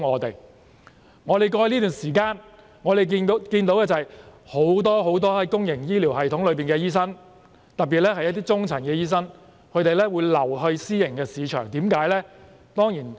在過去這段時間，我們看到很多公營醫療系統的醫生，特別是中層的醫生轉至私營市場，為甚麼呢？